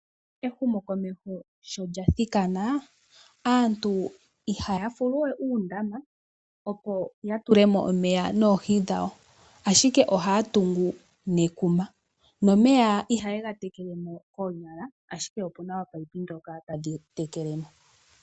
Ehumo komeho shokathikana aantu ihayafuluwe uudama opo yatulemo omeya noohi dhawo, ashike ohaya tungu nekuma, nomeya ihaya tekewe noonyala, ashike opuna ominino ndhoka hadhitekele.